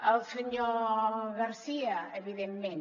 al senyor garcia evidentment